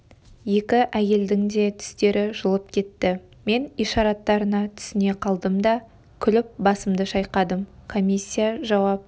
екі әйелдің де түстері жылып кетті мен ишараттарына түсіне қалдым да күліп басымды шайқадым комиссия жауап